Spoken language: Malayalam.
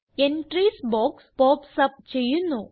എൻട്രീസ് ബോക്സ് pops അപ്പ് ചെയ്യുന്നു